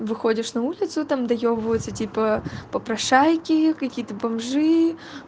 выходишь на улицу там доёбываются типа попрошайки какие-то бомжи